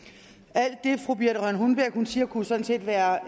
alt det fru birthe rønn hornbech siger kunne sådan set være